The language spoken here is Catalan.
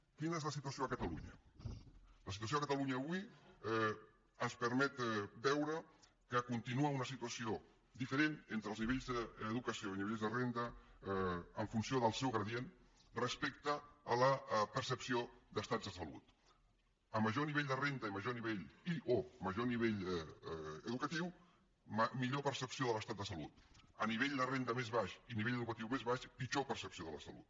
quina és la situació a catalunya la situació a catalunya avui ens permet veure que continua una situació diferent entre els nivells d’educació i nivells de renda en funció del seu gradient respecte a la percepció d’estats de salut a major nivell de renda i o major nivell educatiu millor percepció de l’estat de salut a nivell de renda més baix i nivell educatiu més baix pitjor percepció de la salut